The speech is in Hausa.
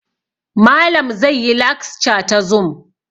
Malam zai yi laxca ta zum